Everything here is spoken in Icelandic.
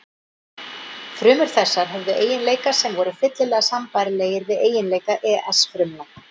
Frumur þessar höfðu eiginleika sem voru fyllilega sambærilegir við eiginleika ES fruma.